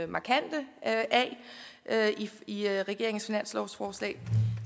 markante i regeringens finanslovsforslag